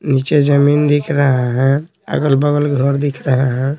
नीचे जमीन दिख रहा है अगल-बगल घर दिख रहा है।